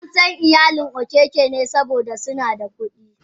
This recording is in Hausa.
Ansan iyalin okeke ne saboda suna da kudi.